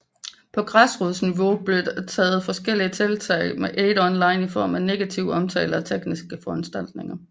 På græsrodsniveau blev der taget forskellige tiltag mod AidOnline i form af negativ omtale og tekniske foranstaltninger